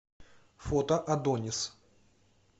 фото адонис